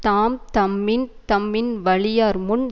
தாம் தம்மின் தம்மின் வலியார் முன்